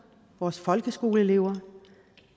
vores folkeskoleelever